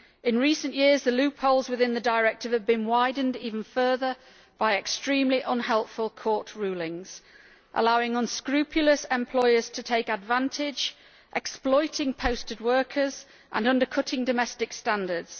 In recent years the loopholes within the directive have been widened even further by extremely unhelpful court rulings, allowing unscrupulous employers to take advantage by exploiting posted workers and undercutting domestic standards.